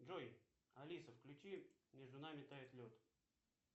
джой алиса включи между нами тает лед